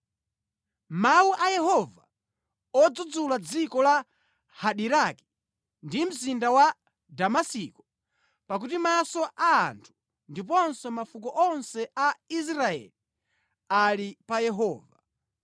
Mawu a Yehova odzudzula dziko la Hadiraki ndi mzinda wa Damasiko pakuti maso a anthu ndiponso mafuko onse a Israeli ali pa Yehova—